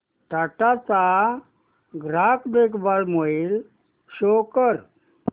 टाटा चा ग्राहक देखभाल ईमेल शो कर